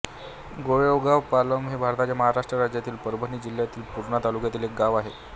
गोळेगावपालम हे भारताच्या महाराष्ट्र राज्यातील परभणी जिल्ह्यातील पूर्णा तालुक्यातील एक गाव आहे